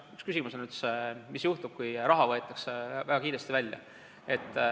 Üks küsimus on, mis juhtub, kui raha võetakse väga kiiresti välja.